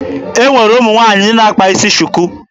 E nwere ụmụ nwaanyị ndị na-akpa isi shuku.